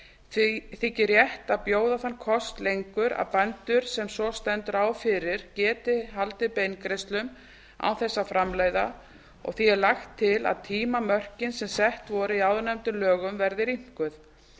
því þykir rétt að bjóða þann kost lengur að bændur sem svo stendur á fyrir geti haldið beingreiðslum án þess að framleiða og því er lagt til að tímamörkin sem sett voru í áðurnefndum lögum verði rýmkuð